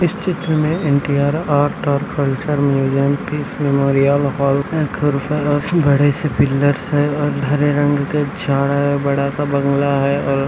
लाल colour का paint main gate के ऊपर और सड़क दिखाई दे रहा है सड़क के किनारे पीले और केल कलर का पेंट है|